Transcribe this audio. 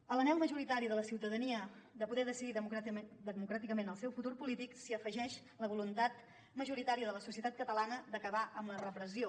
a l’anhel majoritari de la ciutadania de poder decidir democràticament el seu futur polític s’hi afegeix la voluntat majoritària de la societat catalana d’acabar amb la repressió